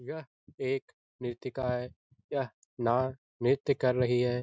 यह एक नृत्यका है यह ना नृत्य कर रही है।